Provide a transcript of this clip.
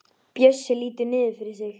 Bjössi lítur niður fyrir sig.